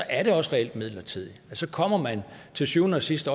er det også reelt midlertidigt så kommer man til syvende og sidst